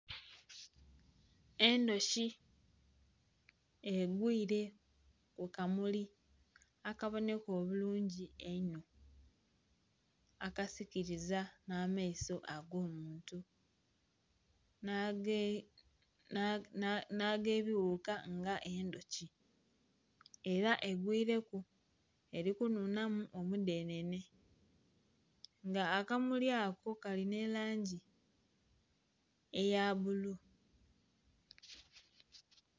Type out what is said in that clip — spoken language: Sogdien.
Endhuki egwire kukamuli akaboneka obulungi eino akasikiriza n'amaiso agomuntu nagebighuka nga endhuki era egwiireku erikunhunhamu omudhenhenhe nga akamuli ako kalina erangi eya bbulu.